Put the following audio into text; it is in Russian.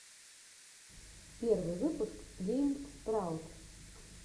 первый выпуск гейм спраут